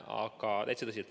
Täitsa tõsiselt!